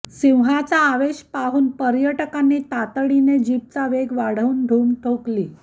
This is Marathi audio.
सिंहाचा आवेश पाहून पर्यटकांनी तातडीने जीपचा वेग वाढवून धूम ठोकली